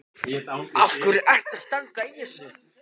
Af hverju ertu að standa í þessu?